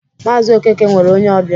Maazi Okeke nwere onye ọbịa